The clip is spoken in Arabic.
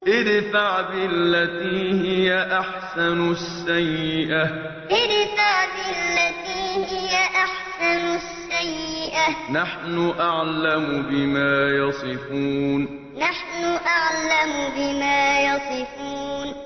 ادْفَعْ بِالَّتِي هِيَ أَحْسَنُ السَّيِّئَةَ ۚ نَحْنُ أَعْلَمُ بِمَا يَصِفُونَ ادْفَعْ بِالَّتِي هِيَ أَحْسَنُ السَّيِّئَةَ ۚ نَحْنُ أَعْلَمُ بِمَا يَصِفُونَ